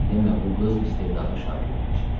Demə bu qız istedadlı şagird imiş.